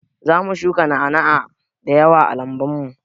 Zamu shuka na'ana'a da yawa a lambun mu.